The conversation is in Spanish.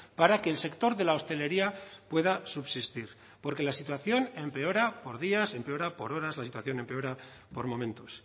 para que el sector de la hostelería pueda subsistir porque la situación empeora por días empeora por horas la situación empeora por momentos